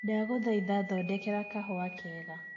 ndagũthaĩtha thondekera kahũa kega